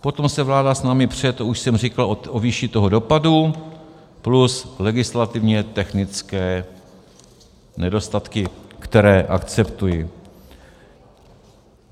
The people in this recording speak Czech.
Potom se vláda s námi pře, to už jsem říkal, o výši toho dopadu plus legislativně technické nedostatky, které akceptuji.